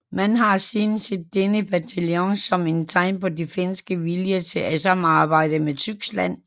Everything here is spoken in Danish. Man har siden set denne bataljon som et tegn på den finske vilje til at samarbejde med Tyskland